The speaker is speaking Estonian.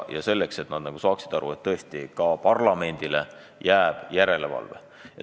Kõigil tuleb aru saada, et ka parlamendile jääb järelevalve pädevus.